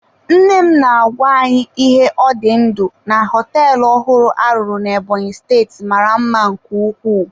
Nne m na-agwa anyị ihe ọ dị ndụ na họteelụ ọhụrụ a rụrụ na Ebonyi steeti mara mma nke ukwuu.